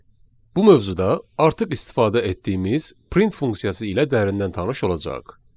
Bu mövzuda artıq istifadə etdiyimiz print funksiyası ilə dərindən tanış olacağıq.